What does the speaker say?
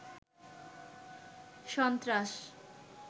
সন্ত্রাস